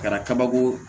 Kɛra kabako